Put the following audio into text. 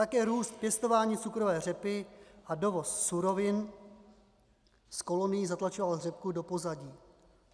Také růst pěstování cukrové řepy a dovoz surovin z kolonií zatlačoval řepku do pozadí.